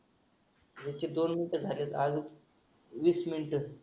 ह्याची दोन मिनिटं झालीयत अजून वीस मिनिटं.